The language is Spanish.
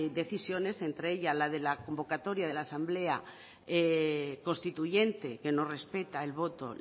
decisiones entre ella la de la convocatoria de la asamblea constituyente que no respeta el voto